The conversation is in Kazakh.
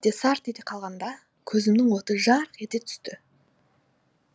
сарт ете қалғанда көзімнің оты жарық ете түсті